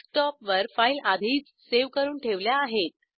डेस्कटॉपवर फाईल आधीच सेव्ह करून ठेवल्या आहेत